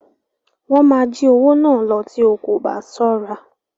Wọ́n máa jí owó náà lọ tí o kò bá ṣọ́ra.